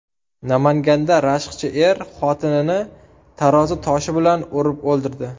Namanganda rashkchi er xotinini tarozi toshi bilan urib o‘ldirdi.